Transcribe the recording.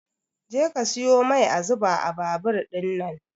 Je ka siyo mai a zuba a babur ɗinnan